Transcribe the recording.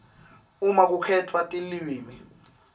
uma kukhetfwa tilwimi